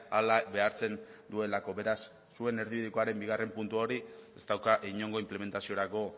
hala behartzen duelako beraz zuen erdibidekoaren bigarren puntu hori ez dauka inongo inplementaziorako